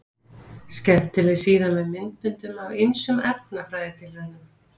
Skemmtileg síða með myndböndum af ýmsum efnafræðitilraunum.